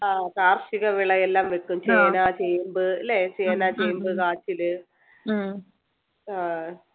ആഹ് കാർഷിക വിളയെല്ലാം വെക്കും ചേന ചേമ്പ് ല്ലേ ചേന ചേമ്പ് കാച്ചില് ആഹ്